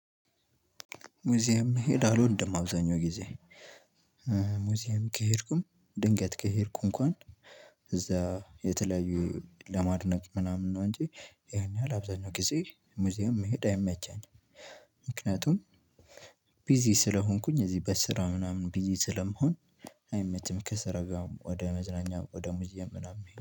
ሙዚየም መሄድ አልወድም አብዛኛው ጊዜ ሙዚየም ከሄድኩም ድንገት ከሄድኩ እንኳን እዛ የተለያዩ ለማድነቅ ምናምን ነው አንጂ ያን ያህል አብዛኛውን ጊዜ ሙዚየም መሄድ አይመቸኝም። ምክንያቱም ቢዚ ስለሆንኩኝ እዚህ በስራ ምናምን ቢዚ ስለመሆን አይመችም። ከስራጋር ወደ መዝረኛ ወደ ሙዚየም ምናምን